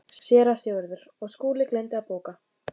SÉRA SIGURÐUR: Og Skúli gleymdi að bóka.